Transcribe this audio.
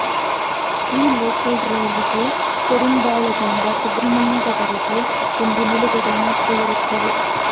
ಈ ಲೋಕಲ್ ರೈಲಿಗೆ ಕೋಡಿಂಬಾಳದಿಂದ ಸುಬ್ರಹ್ಮಣ್ಯ ದವರೆಗೆ ಒಂದು ನಿಲುಗಡೆ ಮಾತ್ರ ಇರುತ್ತದೆ